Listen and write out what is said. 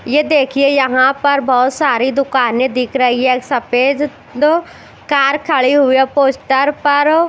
ये देखिये यहाँ पर बहुत सारी दुकानें दिख रही हैं सफेद दो कार खड़ी हुई हैं और पोस्टर पर--